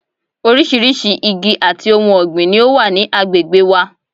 Orísirísi igi àti ohun ọ̀gbìn ni ó wà ní agbègbè wa